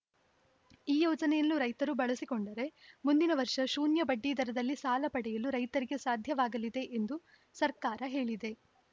ಈ ಯೋಜನೆಯನ್ನು ರೈತರು ಬಳಸಿಕೊಂಡರೆ ಮುಂದಿನ ವರ್ಷ ಶೂನ್ಯ ಬಡ್ಡಿದರಲ್ಲಿ ಸಾಲ ಪಡೆಯಲು ರೈತರಿಗೆ ಸಾಧ್ಯವಾಗಲಿದೆ ಎಂದು ಸರ್ಕಾರ ಹೇಳಿದೆ